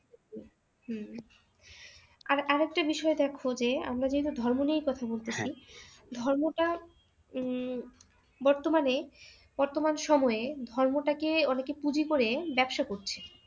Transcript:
হম আর আর একটা বিষয় দেখো যে আমরা যেহেতু ধর্ম নিয়ে কথা বলতেসি ধর্ম টা উম বর্তমানে বর্তমান সময়ে ধর্মটা কে অনেকে পুজি করে ব্যবসা করছে